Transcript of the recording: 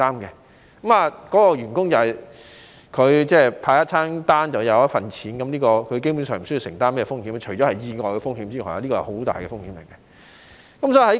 員工派送一份餐便有一份錢，基本上不需要承擔風險，除了意外的風險，而這是很大的風險。